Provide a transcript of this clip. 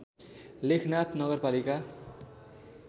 लेखनाथ नगरपालिका